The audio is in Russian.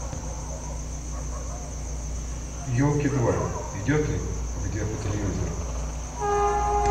елки два идет ли где по телевизору